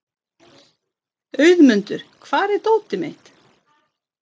Auðmundur, hvar er dótið mitt?